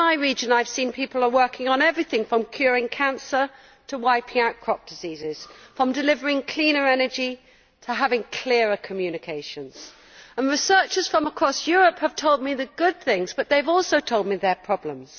And in my region I have seen people working on everything from curing cancer to wiping out crop diseases, from delivering cleaner energy to developing clearer communications. Researchers from across Europe have told me their good news and have also told me of their problems.